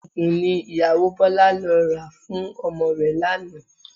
Oògùn ni ìyàwó Bọlá lọ rà fún ọmọ rẹ̀ lánàá